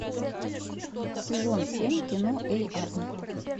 сезон семь кино эй арнольд